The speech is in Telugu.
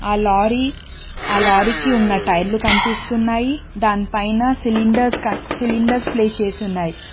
అ లారీ ఆ లారీకి ఉన్న టైర్లు కనిపిస్తున్నాయి దానిపైన సిలిండర్స్ సిలిండర్స్ ప్లేస్ చేసి ఉన్నాయి.